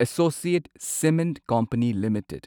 associate cement company limited